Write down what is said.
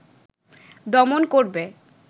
দমন করবে